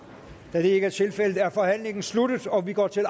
da det ikke er tilfældet er forhandlingen sluttet og vi går til